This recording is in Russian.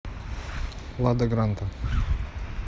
лада гранта